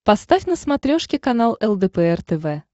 поставь на смотрешке канал лдпр тв